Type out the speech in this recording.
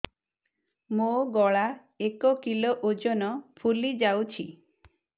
ମୋ ଗଳା ଏକ କିଲୋ ଓଜନ ଫୁଲି ଯାଉଛି